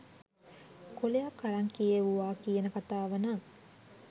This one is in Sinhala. කොලයක් අරං කියෙව්වා කියන කතාව නං